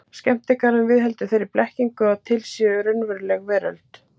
Skemmtigarðurinn viðheldur þeirri blekkingu að til sé raunveruleg veröld.